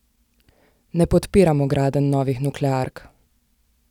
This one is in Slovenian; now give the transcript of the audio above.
Ne podpiramo gradenj novih nukleark.